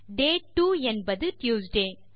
டே two என்பது Tuesday